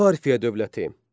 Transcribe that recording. Parfiya dövləti.